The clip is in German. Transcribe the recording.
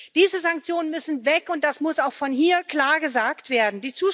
Diese Sanktionen müssen weg, und das muss auch von hier klar gesagt werden.